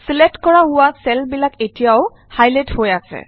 select কৰা হোৱা cell বিলাক এতিয়াও হাইলাইট হৈ আছে